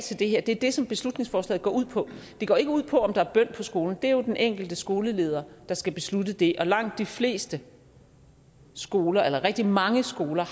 til det her det er det som beslutningsforslaget går ud på det går ikke ud på om der er bøn på skolen det er jo den enkelte skoleleder der skal beslutte det og langt de fleste skoler eller rigtig mange skoler